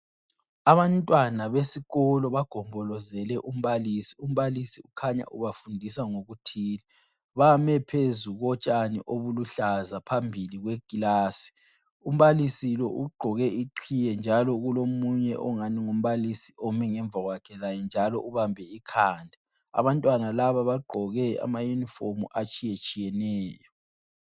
Abantwana besikolo bagombolozele umbalisi. Umbalisi kukhanya ubafundisa ngokuthile. Bame phezu kotshani obuluhlaza phambili kweklasi. Umbalisi lo ugqoke iqhiye njalo kulomunye ongani ngumbalisi ome ngemvakwakhe laye njalo ubambe ikhanda. Abantwana laba bagqoke amayunifomu atshiyetshiyeneyo.